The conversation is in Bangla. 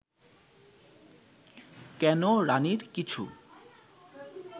কেন রাণীর কিছু